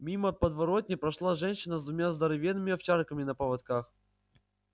мимо подворотни прошла женщина с двумя здоровенными овчарками на поводках